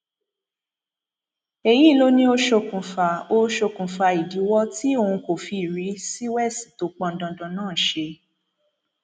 èyí ló ní ó ṣokùnfà ó ṣokùnfà ìdíwọ tí òun kò fi rí siwèsì tó pọn dandan náà ṣe